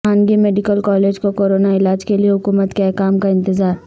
خانگی medical colleges کو corona علاج کیلئے حکومت کے احکام کا انتظار